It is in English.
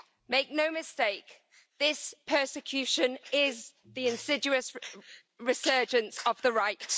Make no mistake, this persecution is the insidious resurgence of the Right.